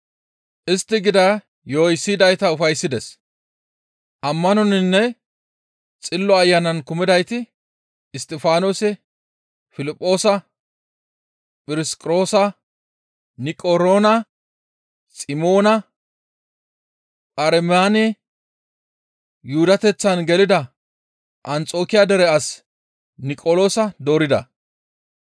Istti gida yo7oy siyidayta ufayssides; Ammanoninne Xillo Ayanan kumidayti Isttifaanose, Piliphoosa, Phirosqoroosa, Niqaroona, Ximoona, Pharmenanne Yuhudateththan gelida Anxokiya dere as Niqoloosa doorida.